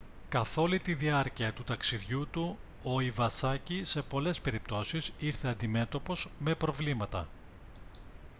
καθ' όλη τη διάρκεια του ταξιδιού του ο ιβασάκι σε πολλές περιπτώσεις ήρθε αντιμέτωπος με προβλήματα